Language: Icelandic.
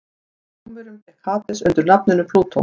hjá rómverjum gekk hades undir nafninu plútó